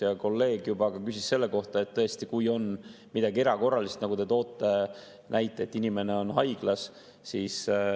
Ja kolleeg juba küsis selle kohta, et tõesti, kui on midagi erakorralist, nagu te tõite näite, et inimene on haiglas.